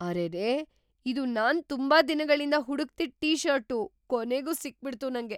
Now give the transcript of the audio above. ಅರೆರೇ! ಇದು ನಾನ್ ತುಂಬಾ ದಿನಗಳಿಂದ ಹುಡುಕ್ತಿದ್‌ ಟೀ-ಷರ್ಟು! ಕೊನೆಗೂ ಸಿಕ್ಬಿಡ್ತು ನಂಗೆ!